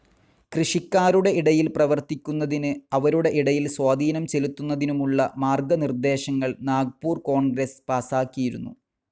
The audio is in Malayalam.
കൃഷിക്കാരുടെ ഇടയിൽ പ്രവർത്തിക്കുന്നതിന്, അവരുടെ ഇടയിൽ സ്വാധീനം ചെലുത്തുന്നതിനുമുള്ള മാർഗ്ഗ നിർദ്ദേശങ്ങൾ നാഗ്പൂർ കോൺഗ്രസ്‌ പാസാക്കിയിരുന്നു.